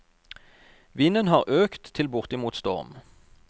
Vinden har øket til bortimot storm.